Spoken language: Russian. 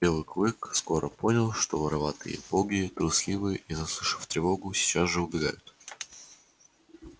белый клык скоро понял что вороватые боги трусливы и заслышав тревогу сейчас же убегают